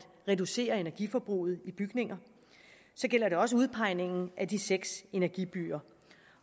reducere energiforbruget i bygninger det gælder også udpegning af de seks energibyer